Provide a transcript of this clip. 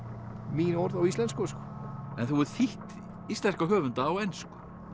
mín orð á íslensku en þú hefur þýtt íslenska höfunda á ensku